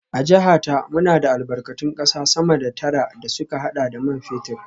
A jiha ta, muna da albarkatun kasa sama da tara da suka hada da man fetur